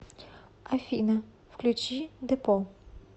афина включи депо